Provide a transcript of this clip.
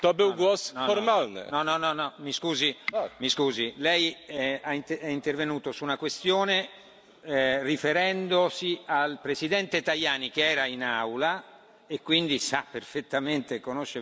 Mi scusi, Lei è intervenuto su una questione riferendosi al Presidente Tajani che era in Aula e quindi sa perfettamente, conosce perfettamente la questione.